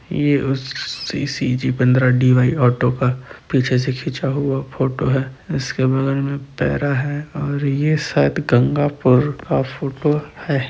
ये उस सि_सि_जी पन्द्रा डी_वाय ऑटो का पीछे से खीचा हुआ फोटो है इसके बगल में पेरा है। और ये शायद गंगापुर का फोटो है ।